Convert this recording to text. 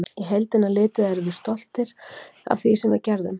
Í heildina litið erum við stoltir af því sem við gerðum.